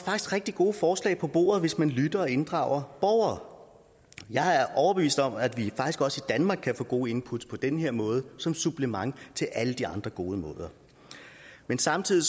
rigtig gode forslag på bordet hvis man lytter og inddrager borgere jeg er overbevist om at vi faktisk også i danmark kan få gode input på den her måde som supplement til alle de andre gode måder men samtidig